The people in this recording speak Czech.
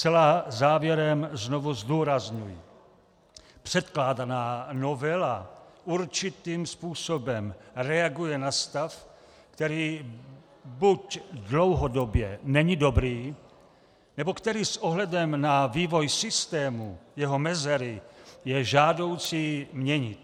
Zcela závěrem znovu zdůrazňuji: předkládaná novela určitým způsobem reaguje na stav, který buď dlouhodobě není dobrý nebo který s ohledem na vývoj systému, jeho mezery, je žádoucí měnit.